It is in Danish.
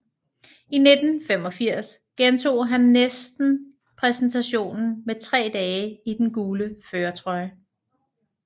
I 1985 gentog han næsten præstationen med tre dage i den gule førertrøje